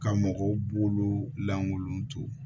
Ka mɔgɔw bolo lankolon to